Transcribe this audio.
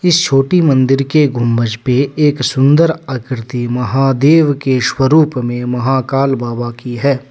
इस छोटी मंदिर के गुंबज मे एक सुंदर आकृति महादेव के शुभ स्वरूप में महाकाल बाबा की है।